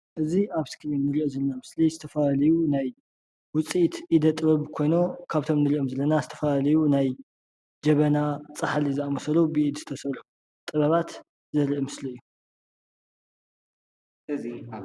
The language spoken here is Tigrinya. እዚ አብ እስክሪን እንሪኦ ዘለና ምስሊ ዝተፈላለዩ ናይ ውፅኢት ኢደ-ጥበብ ኮይኖም፤ ካብቶም እንሪኦም ዘለና ዝተፈላለዩ ናይ ጀበና፣ ፃሕሊ ዝአመሰሉ ብኢድ ዝተሰርሑ ጥበባት ዘርኢ ምስሊ እዩ፡፡